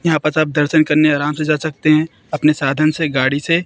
यहां पास आप दर्शन करने आराम से जा सकते हैं अपने साधन से गाड़ी से--